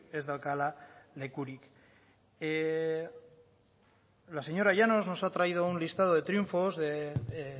ez daukala lekurik la señora llanos nos ha traído un listado de triunfos de